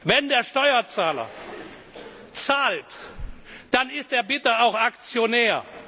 Wenn der Steuerzahler zahlt, dann ist er bitte auch Aktionär!